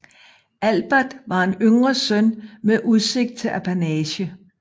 Albert var en yngre søn med udsigt til en apanage